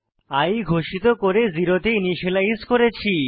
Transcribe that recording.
i ঘোষিত করে 0 তে ইনিসিয়েলাইজ করেছি